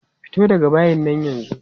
Fito daga bayin nan yanzu!